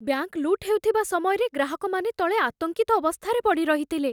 Bank ଲୁଟ୍ ହେଉଥିବା ସମୟରେ ଗ୍ରାହକମାନେ ତଳେ ଆତଙ୍କିତ ଅବସ୍ଥାରେ ପଡ଼ି ରହିଥିଲେ।